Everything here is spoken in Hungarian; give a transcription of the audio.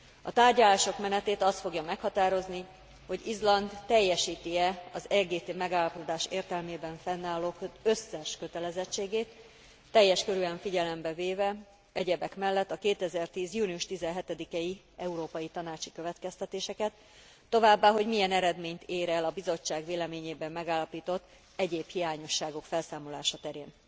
A tárgyalások menetét az fogja meghatározni, hogy Izland teljesíti e az EGT megállapodás értelmében fennálló összes kötelezettségét, teljes körűen figyelembe véve egyebek mellett a 2010. június 17 i európai tanácsi következtetéseket, továbbá, hogy milyen eredményt ér el a Bizottság véleményében megállapított egyéb hiányosságok felszámolása terén.